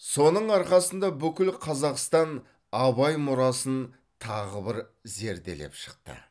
соның арқасында бүкіл қазақстан абай мұрасын тағы бір зерделеп шықты